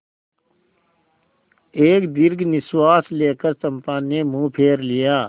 एक दीर्घ निश्वास लेकर चंपा ने मुँह फेर लिया